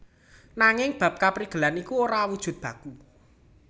Nanging bab kaprigelan iku ora awujud baku